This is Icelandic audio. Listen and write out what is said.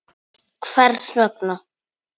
Hvers vegna?.